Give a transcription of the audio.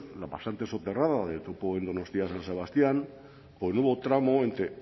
la pasante soterrada del topo en donostia san sebastián o el nuevo tramo entre